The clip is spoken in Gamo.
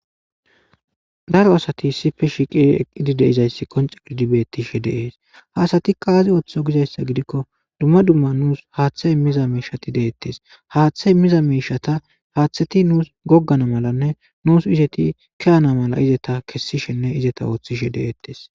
Daro asati issipe shiiqidi eqqidi de'iza issi qonccidi be'ettishede. Ha asatikka aza otti gikko, dumma dumma nuusi haatha immiza miishati de'ettees. Haatha immiza miishata haathati nuusi goggana malanne, nuusi eti kiyaana mala eti kessishenne eta oottishe de'ettees.